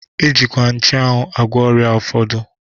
E jikwa nchuanwu agwọ ọrịa ụfọdụ.